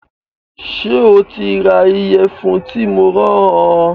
Ṣé o ti ra ìyẹ̀fun tí mo rán ọ